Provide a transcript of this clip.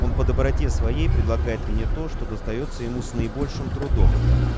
он по доброте своей предлагает мне то что достаётся ему с наибольшим трудом